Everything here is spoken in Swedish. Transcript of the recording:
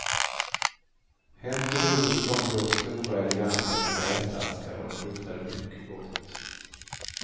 Hem till huset kom då stora eleganta cigarrettaskar och de luktade mycket gott.